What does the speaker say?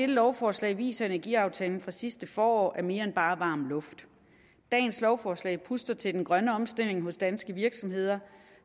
lovforslag viser at energiaftalen fra sidste forår er mere end bare varm luft dagens lovforslag puster til den grønne omstilling hos danske virksomheder og